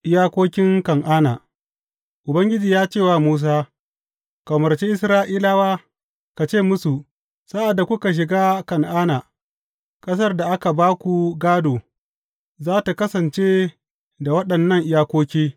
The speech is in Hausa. Iyakokin Kan’ana Ubangiji ya ce wa Musa, Ka umarci Isra’ilawa, ka ce musu, Sa’ad da kuka shiga Kan’ana, ƙasar da aka ba ku gādo za tă kasance da waɗannan iyakoki.